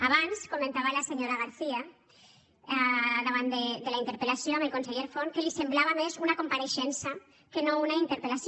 abans comentava la senyora garcía davant de la interpel·lació amb el conseller forn que li semblava més una compareixença que no una interpel·lació